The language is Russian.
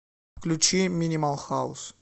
включи минимал хаус